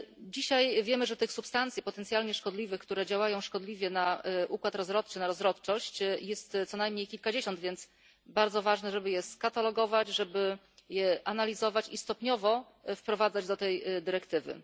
Dzisiaj wiemy, że tych substancji potencjalnie szkodliwych, które działają szkodliwie na układ rozrodczy, na rozrodczość, jest co najmniej kilkadziesiąt, więc bardzo ważne jest, żeby je skatalogować, żeby je analizować i stopniowo wprowadzać do tej dyrektywy.